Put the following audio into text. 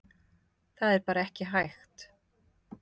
Það er bara ekki hægt